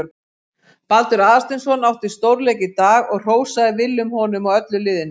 Baldur Aðalsteinsson átti stórleik í dag og hrósaði Willum honum og öllu liðinu.